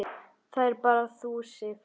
Það ert bara þú, Sif.